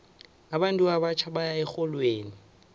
abantu abatjha baya erholweni